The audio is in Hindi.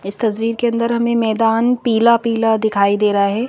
इस तस्वीर के अंदर हमें मैदान पीला-पीला दिखाई दे रहा है।